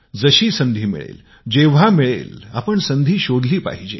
जशी संधी मिळेल जेंव्हा मिळेल आपण संधी शोधली पाहिजे